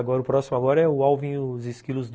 Acho que o próximo agora é o Alvin e os Esquilos Dois.